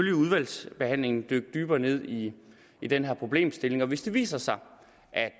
i udvalgsbehandlingen dykke dybere ned i i den her problemstilling og hvis det viser sig